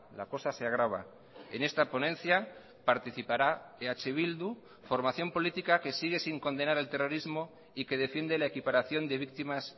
la cosa se agrava en esta ponencia participará eh bildu formación política que sigue sin condenar el terrorismo y que defiende la equiparación de víctimas